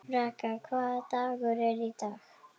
Braga, hvaða dagur er í dag?